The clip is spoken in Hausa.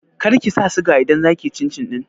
Kar kisa suga idan za kiyi cin cin ɗin